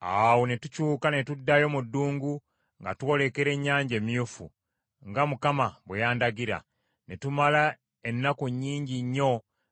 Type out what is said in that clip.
Awo ne tukyuka ne tuddayo mu ddungu nga twolekera Ennyanja Emyufu, nga Mukama bwe yandagira. Ne tumala ennaku nnyingi nnyo